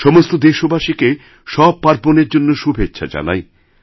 সমস্ত দেশবাসীকে সব পার্বণের জন্য শুভেচ্ছা জানাই